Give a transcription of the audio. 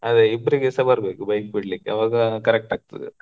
ಅದ ಇಬ್ಬರಿಗೆ ಸ ಬರಬೇಕು bike ಬಿಡಲಿಕ್ಕೆ ಆವಾಗಾ correct ಆಗ್ತದ.